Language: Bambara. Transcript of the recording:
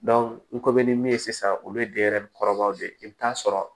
n ko bɛ ni min ye sisan olu ye denyɛrɛnin kɔrɔbaw de ye i bi taa sɔrɔ